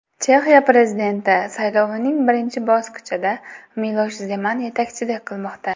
Chexiya prezidenti saylovining birinchi bosqichida Milosh Zeman yetakchilik qilmoqda.